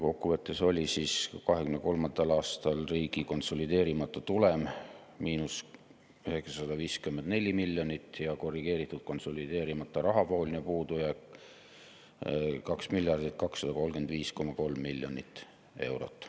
Kokkuvõttes oli 2023. aastal riigi konsolideerimata tulem –954 miljonit ja korrigeeritud konsolideerimata rahavooline puudujääk 2 miljardit 235,3 miljonit eurot.